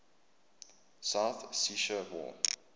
south ossetia war